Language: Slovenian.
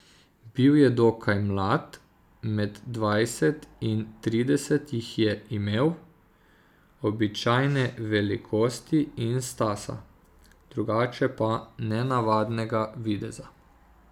Bil je dokaj mlad, med dvajset in trideset jih je imel, običajne velikosti in stasa, drugače pa nenavadnega videza.